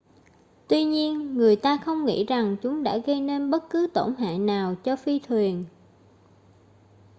tuy nhiên người ta không nghĩ rằng chúng đã gây nên bất cứ tổn hại nào cho phi thuyền